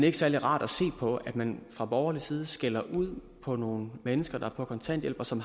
er særlig rart at se på at man fra borgerlig side skælder ud på nogle mennesker der er på kontanthjælp og som